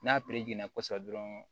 N'a kosɛbɛ dɔrɔn